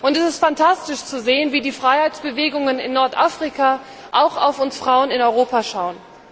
Es ist phantastisch zu sehen, wie die Freiheitsbewegungen in Nordafrika auch auf uns Frauen in Europa schauen.